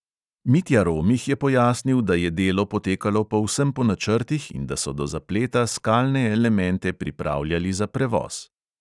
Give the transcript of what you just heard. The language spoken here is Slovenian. Mitja romih je pojasnil, da je delo potekalo povsem po načrtih in da so do zapleta skalne elemente pripravljali za prevoz.